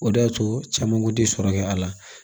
O de y'a to caman kun ti sɔrɔ kɛ a la